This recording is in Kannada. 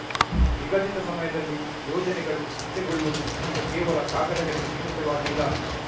ನಿಗದಿತ ಸಮಯದಲ್ಲಿ ಯೋಜನೆಗಳು ಅಂತ್ಯಗೊಳ್ಳುವುದು ಈಗ ಕೇವಲ ಕಾಗದಗಳಿಗೆ ಸೀಮಿತವಾಗಿಲ್ಲ